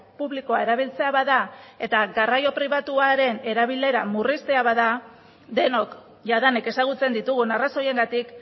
publikoa erabiltzea bada eta garraio pribatuaren erabilera murriztea bada denok jadanik ezagutzen ditugun arrazoiengatik